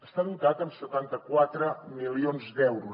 està dotat amb setanta quatre milions d’euros